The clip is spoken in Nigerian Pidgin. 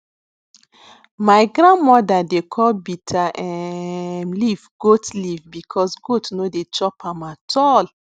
my grand mother dey call bitter um leaf goat leaf because goat no dey chop am at all